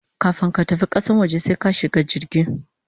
Kafun ka tafi kasan waje sai ka shiga jirgi